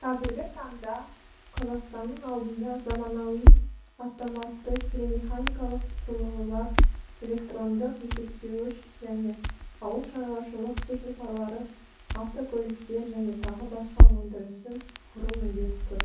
қазіргі таңда қазақстанның алдында заманауи автоматты телемеханикалық құрылғылар электрондық есептеуіш және ауылшаруашылық техникалары автокөліктер және тағы басқа өндірісін құру міндеті тұр